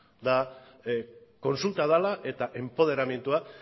eta kontsulta dela eta enpoderamendua